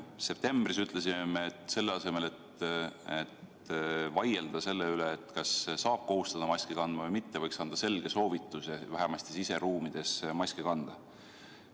Septembris ütlesime me, et selle asemel, et vaielda selle üle, kas saab kohustada maski kandma või mitte, võiks anda selge soovituse vähemasti siseruumides maske kanda.